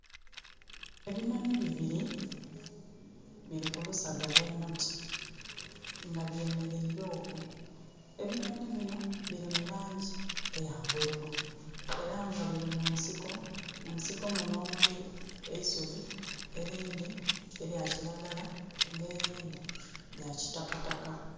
Ebinhonhi bibili biri ku lusaga lw'omuti, nga byemeleire okwo. Ebinhonhi binho bili mu laangi eya bululu. Era nga biri mu nsiko, mu nsiko munho omuli eisubi, erindhi elya kiragala n'erindhi lya kitakataka.